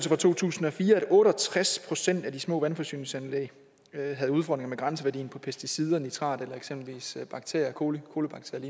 fra to tusind og fire at otte og tres procent af de små vandforsyningsanlæg havde udfordringer med grænseværdien for pesticider nitrat eller eksempelvis bakterier colibakterier